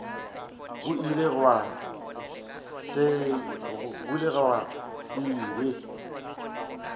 go ile gwa se be